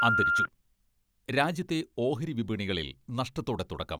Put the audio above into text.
അന്തരിച്ചു രാജ്യത്തെ ഓഹരി വിപണികളിൽ നഷ്ടത്തോടെ തുടക്കം.